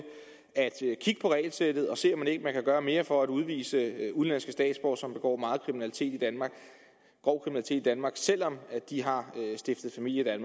at kigge på regelsættet og se om man ikke kan gøre mere for at udvise udenlandske statsborgere som begår meget grov kriminalitet i danmark selv om de har stiftet familie i